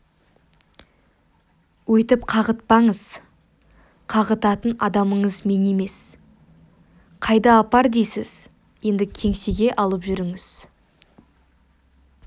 өйтіп қағытпаңыз қағытатын адамыңыз мен емес қайда апар дейсіз енді кеңсеге алып жүріңіз